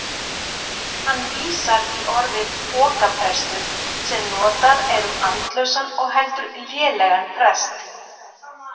Hann vísar í orðið pokaprestur sem notað er um andlausan og heldur lélegan prest.